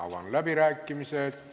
Avan läbirääkimised.